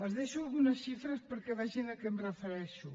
els deixo algunes xifres perquè vegin a què em refereixo